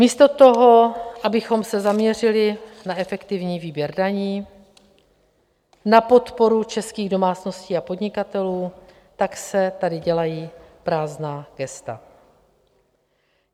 Místo toho, abychom se zaměřili na efektivní výběr daní, na podporu českých domácností a podnikatelů, tak se tady dělají prázdná gesta.